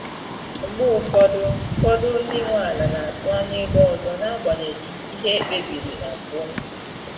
Mgbe ụfọdụ fọdụ ndị nwe ala na-atụ anya ego ọzọ n’agbanyeghị ihe ekpe biri na mbụ.